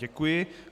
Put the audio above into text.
Děkuji.